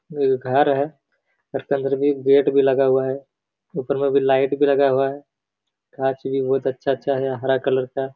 ये घर है घर के अंदर गेट भी लगा हुआ है ऊपर में भी लाइट भी लगा हुआ है गाछ भी बहोत अच्छा-अच्छा है हरा कलर का।